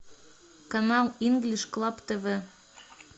канал инглиш клаб тв